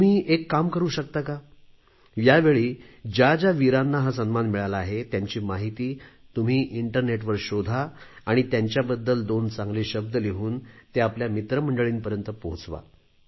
तुम्ही एक काम करू शकता का या वेळी ज्या ज्या वीरांना हा सन्मान मिळाला आहे त्यांची माहिती तुम्ही इंटरनेटवर शोधा आणि त्यांच्याबद्दल दोन चांगले शब्द लिहून ते आपल्या मित्रमंडळींपर्यंत पोहोचवा